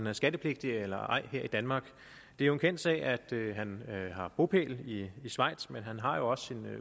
er skattepligtig eller ej her i danmark det er en kendt sag at han har bopæl i schweiz men han har jo også